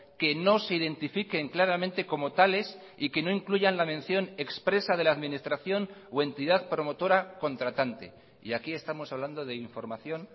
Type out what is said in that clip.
que no se identifiquen claramente como tales y que no incluyan la mención expresa de la administración o entidad promotora contratante y aquí estamos hablando de información